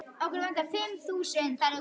Valli, hvaða myndir eru í bíó á mánudaginn?